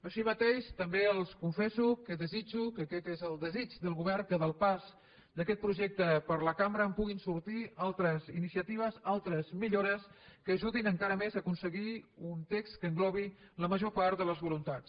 així mateix també els confesso que desitjo que aquest és el desig del govern que del pas d’aquest projecte per la cambra en puguin sortir altres iniciatives altres millores que ajudin encara més a aconseguir un text que englobi la major part de les voluntats